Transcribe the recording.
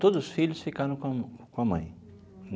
Todos os filhos ficaram com com a mãe.